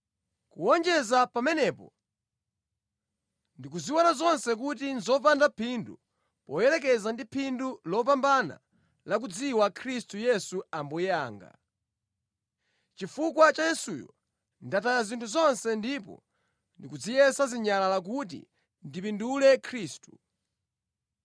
Kuwonjeza pamenepo, ndikuziona zonse kuti nʼzopanda phindu poyerekeza ndi phindu lopambana la kudziwa Khristu Yesu Ambuye anga. Nʼchifukwa cha Yesuyo ndataya zinthu zonse ndipo ndikuziyesa zinyalala kuti ndipindule Khristu